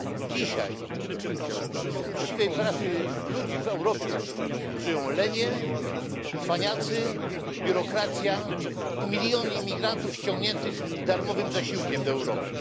Dzisiaj z uczciwej pracy ludzi w Europie żyją lenie, cwaniacy, biurokracja i miliony imigrantów ściągniętych darmowym zasiłkiem do Europy.